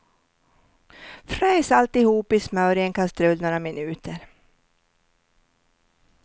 Fräs alltihop i smör i en kastrull några minuter.